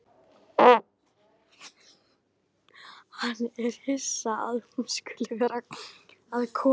Hann er hissa að hún skuli vera að koma.